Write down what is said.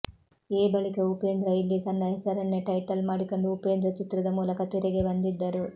A ಬಳಿಕ ಉಪೇಂದ್ರ ಇಲ್ಲಿ ತನ್ನ ಹೆಸರನ್ನೇ ಟೈಟಲ್ ಮಾಡಿಕೊಂಡು ಉಪೇಂದ್ರ ಚಿತ್ರದ ಮೂಲಕ ತೆರೆಗೆ ಬಂದಿದ್ದರು